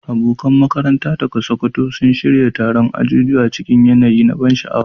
Abokan makaranta daga Sokoto sun shirya taron ajujuwa cikin yanayi mai ban sha'awa.